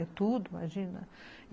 É tudo, imagina.